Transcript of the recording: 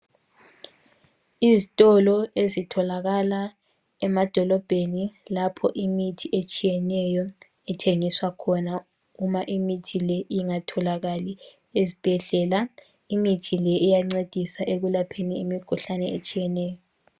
Izitolo ezitholakala emadolobheni lapho imithi etshiyeneyo ethengiswa khona. Nxa imithi le ingatholakali ezibhedlela. Imithi le iyancedisa ukwelapha imikhuhlane etshiyeneyo.